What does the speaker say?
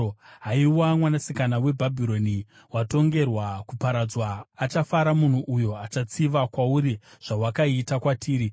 Haiwa Mwanasikana weBhabhironi, watongerwa kuparadzwa, achafara munhu uyo achatsiva kwauri zvawakaita kwatiri,